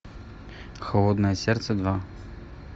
холодное сердце два